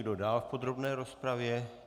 Kdo dále v podrobné rozpravě?